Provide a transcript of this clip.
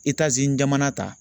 jamana ta